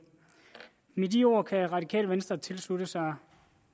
med de ord kan radikale venstre tilslutte sig